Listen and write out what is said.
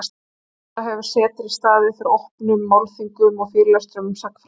Auk þessa hefur setrið staðið fyrir opnum málþingum og fyrirlestrum um sagnfræði.